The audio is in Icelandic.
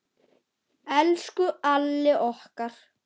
Elsku Alli okkar.